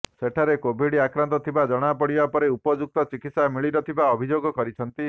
ସେଠାରେ କୋଭିଡ଼ ଆକ୍ରାନ୍ତ ଥିବା ଜଣାପଡିବା ପରେ ଉପଯୁକ୍ତ ଚିକିତ୍ସା ମିଳି ନଥିବା ଅଭିଯୋଗ କରିଛନ୍ତି